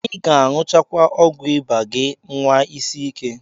Ị ga-aṅụcha ọgwụ ịba gị, nwa isi ike.